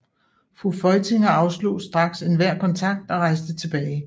Fru Feuchtinger afslog straks enhver kontakt og rejste tilbage